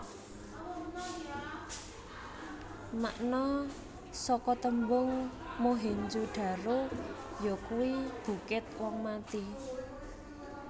Makna saka tembung Mohenjo daro yakuwi Bukit wong mati